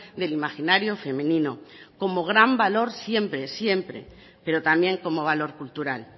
del imaginario femenino como gran valor siempre pero también como valor cultural